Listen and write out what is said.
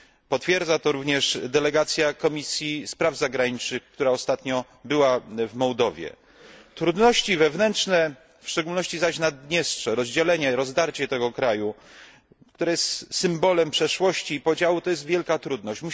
Potwierdza to również delegacja Komisji do Spraw Zagranicznych, która ostatnio była w Mołdawii. Trudności wewnętrzne, w szczególności zaś Naddniestrze, rozdzielenie, rozdarcie tego kraju, które jest symbolem przeszłości i podziału, stanowi wielką trudność.